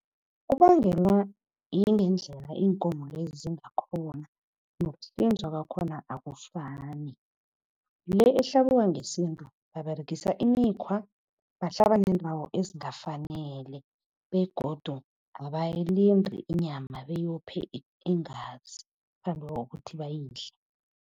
Kubangelwa yingendlela iinkomo lezi zingakhoni nokuhlinzwa kwakhona akufani. Le ehlabiwa ngesintu baberegisa imikhwa bahlaba neendawo ezingafanele begodu abayilindi inyama beyophe iingazi ngaphambi kokuthi bayidle.